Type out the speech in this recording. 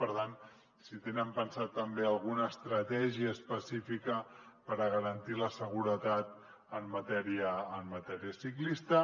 per tant si tenen pensada també alguna estratègia específica per garantir la seguretat en matèria ciclista